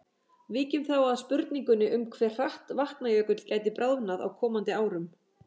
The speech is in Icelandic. Víkjum þá að spurningunni um hve hratt Vatnajökull gæti bráðnað á komandi árum.